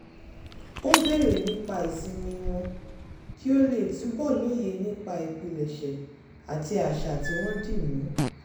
ó béèrè nípa ìsinmi wọn kí ó lè túbọ̀ lóye nípa ìpilẹ̀ṣẹ̀ àti àṣà tí wọ́n dí mú